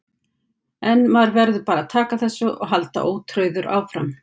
En maður verður bara að taka þessu og halda ótrauður áfram.